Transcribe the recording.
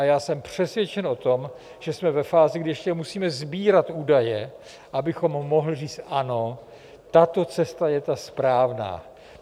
A já jsem přesvědčen o tom, že jsme ve fázi, kdy ještě musíme sbírat údaje, abychom mohli říct ano, tato cesta je ta správná.